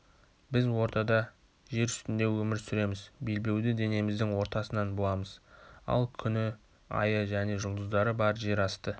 біз ортада жер үстінде өмір сүреміз белбеуді денеміздің ортасынан буамыз ал күні айы және жұлдыздары бар жер асты